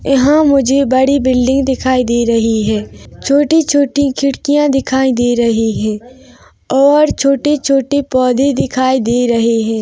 यहाँ मुझे बड़ी बिल्डिंग दिखाई दे रही है छोटी - छोटी खिड़कियाँ दिखाई दे रही है और छोटे - छोटे पोधे दिखाई दे रहे है।